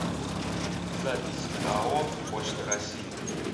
запись ао почта россии